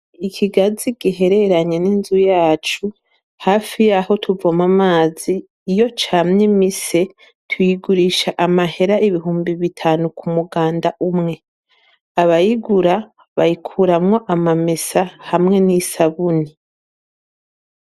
ikigazi gihereranye n'inzu yacu hafi y'aho tuvoma amazi iyo camye mise tuyigurisha amahera ibihumbi bitanu ku muganda umwe abayigura bayikuramwo amamesa hamwe n'isabuni